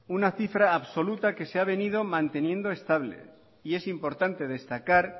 una cifra absoluta que se ha venido manteniendo estable y es importante destacar